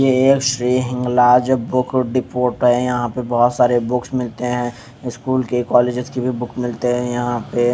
Shri Hinglaj book store है यहा पे बहोत सारे बुक्स मिलते है स्कूल के कोल्लेजेस के भी बुक मिलते है यहा पे--